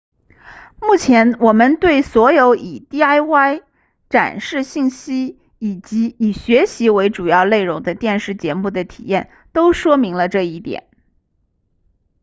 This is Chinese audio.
目前我们对所有以 diy 展示信息以及以学习为主要内容的电视节目的体验都说明了这一点